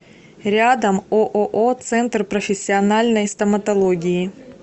рядом ооо центр профессиональной стоматологии